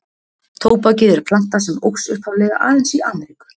Tóbakið er planta sem óx upphaflega aðeins í Ameríku.